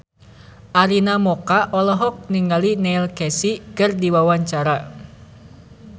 Arina Mocca olohok ningali Neil Casey keur diwawancara